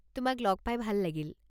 তোমাক লগ পাই ভাল লাগিল।